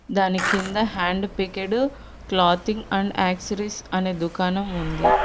దాని కింద hand picked clothing and accessories అనే దుకాణం ఉంది.